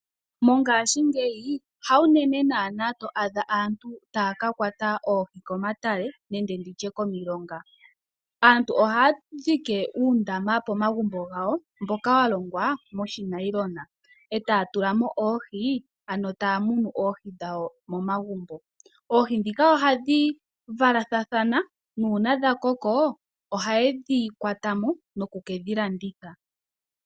Mongashingeyi hawu unene naana to adha aantu taya ka kwata oohi komatale nenge komilonga. Aantu ohaya thikameke uundaama pomagumbo gawo mboka wa longwa monailona, e taya tula mo oohi, ano taya munu oohi dhawo momagumbo. Oohi ndhika ohadhi valathana, nuuna dha koko ohaye dhi kwata mo noku ke dhi landitha.